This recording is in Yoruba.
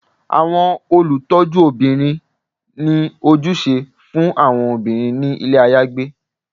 Awọn olutọjúbirin ni ojúsẹ fun awọn obirin ni ilé ayagbé